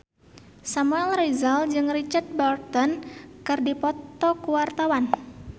Samuel Rizal jeung Richard Burton keur dipoto ku wartawan